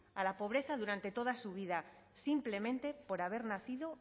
a la pobreza durante toda su vida simplemente por haber nacido